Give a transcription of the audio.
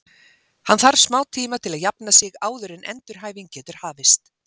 Hann þarf smá tíma til að jafna sig áður en endurhæfing getur hafist.